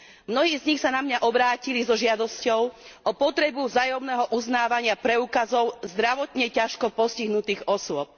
Mnohí z nich sa na mňa obrátili so žiadosťou o potrebu vzájomného uznávania preukazov zdravotne ťažko postihnutých osôb.